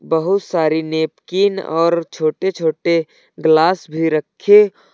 बहुत सारी नैपकिन और छोटे छोटे ग्लास भी रखे--